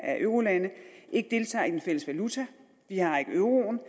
er eurolande ikke deltager i den fælles valuta vi har ikke euroen og